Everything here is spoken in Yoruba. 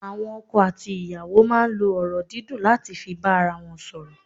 Àwọn ọkọ àti ìyàwó máa n lo ọ̀rọ̀ dídùn láti fi bá ara won sòrò